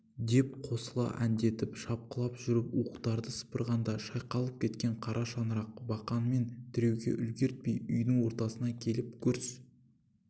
деп қосыла әндетіп шапқылап жүріп уықтарды сыпырғаңда шайқалып кеткен қара шаңырақ бақанмен тіреуге үлгертпей үйдің ортасына келіп гүрс